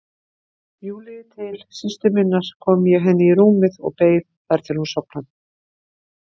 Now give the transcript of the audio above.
Júlíu til systur minnar kom ég henni í rúmið og beið þar til hún sofnaði.